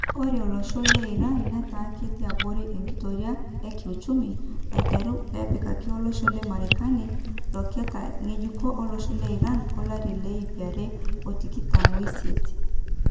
Ore olosho le Iran netaa ketii abori enkitoria e kiuchumi aiteru pepikaki olosho le marekani loketa ngejuko olosho le Iran olari le ipare otikitam oisiet.